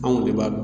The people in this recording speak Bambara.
Anw de b'a dɔn